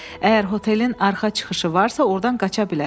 Əgər hotelin arxa çıxışı varsa, ordan qaça bilər.